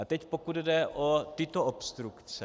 A teď pokud jde o tyto obstrukce.